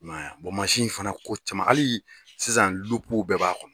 I man ye mansin in fana ko caman hali sisan lupuw bɛɛ b'a kɔnɔ.